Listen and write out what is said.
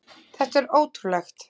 Þetta er ótrúlegt!